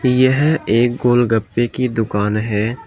यह एक गोलगप्पे की दुकान है।